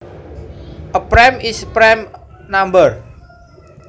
A prime is a prime number